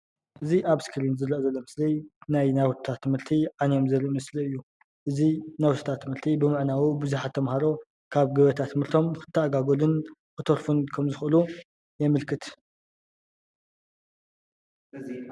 እዚ ኣብ እስክሪን ዝርአ ዘሎ ምስሊ ናይ ናውትታት ትምህርቲ ዓንዮም ዘርኢ ምስሊ እዩ ።እዚ ናውትታት ትምህርቲ ብምዕናዉ ብዙሓት ተምሃሮ ካብ ገበታ ትምህርቶም ክተኣጓጎሉን ክተርፉን ከም ዝክእሉ የምልክት ።